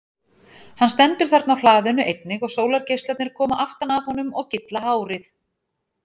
Hann stendur þarna á hlaðinu einnig og sólargeislarnir koma aftan að honum og gylla hárið.